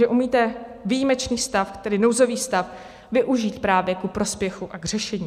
Že umíte výjimečný stav, tedy nouzový stav, využít právě ku prospěchu a k řešení.